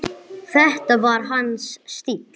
Þetta var hans stíll.